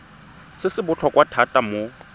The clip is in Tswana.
se se botlhokwa thata mo